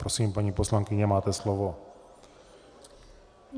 Prosím, paní poslankyně, máte slovo.